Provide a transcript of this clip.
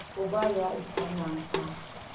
ho ba ya ikanang a